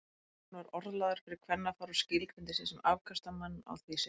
Hann var orðlagður fyrir kvennafar og skilgreindi sig sem afkastamann á því sviði.